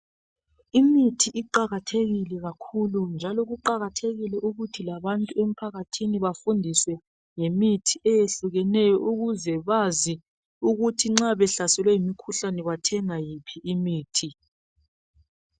Imithi iqakathekile kakhulu njalo kuqakathekile ukuthi labantu emphakathini bafundiswe ngemithi eyehlukeneyo ukuze bazi ukuthi nxa behlaselwe ngumkhuhlane bathenga iphi imithi.